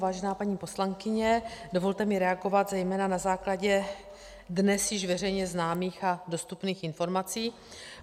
Vážená paní poslankyně, dovolte mi reagovat zejména na základě dnes již veřejně známých a dostupných informací.